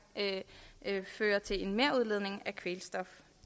fører til en merudledning af kvælstof